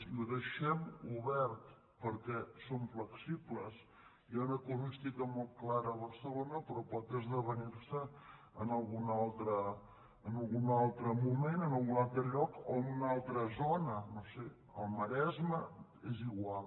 i ho deixem obert perquè som flexibles hi ha una casuística molt clara a barcelona però pot esdevenir se en algun altre moment en algun altre lloc o en una altra zona no ho sé al maresme és igual